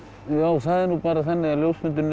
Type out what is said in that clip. það er nú bara þannig að ljósmyndarar